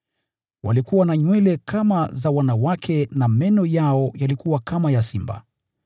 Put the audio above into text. Walikuwa na nywele kama za wanawake, na meno yao yalikuwa kama ya simba.